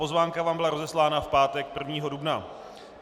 Pozvánka vám byla rozeslána v pátek 1. dubna.